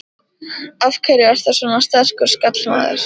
Af hverju ertu svona sterkur skallamaður?